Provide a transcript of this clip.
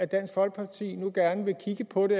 dansk folkeparti nu alligevel gerne vil kigge på det